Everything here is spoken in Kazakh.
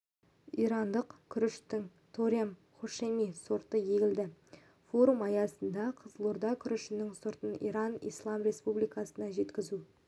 ирандық күріштің торем хошеми сорты егілді форум аясында қызылорда күрішінің сортын иран ислам республикасына жеткізу